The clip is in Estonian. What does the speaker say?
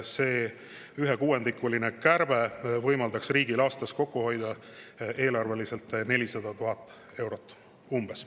See ühekuuendikuline kärbe võimaldaks riigil aastas eelarves kokku hoida umbes 400 000 eurot.